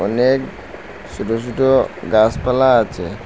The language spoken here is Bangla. অনেক ছুটো ছুটো গাছপালা আছে।